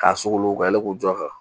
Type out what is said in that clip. K'a sugolo ka yɛlɛ ko jɔ kan